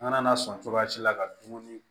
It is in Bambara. An kana na sɔn cogoya si la ka dumuni